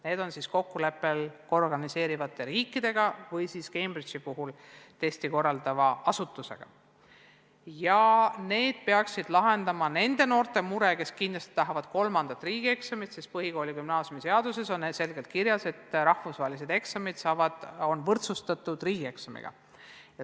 Need tehakse kokkuleppel organiseerivate riikidega ja Cambridge'i puhul testi korraldava asutusega ning need peaksid lahendama nende noorte mure, kes kindlasti tahavad teha ka kolmanda riigieksami, sest põhikooli- ja gümnaasiumiseaduses on selgelt kirjas, et rahvusvahelised eksamid on võrdsustatud riigieksamiga.